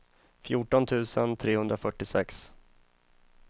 fjorton tusen trehundrafyrtiosex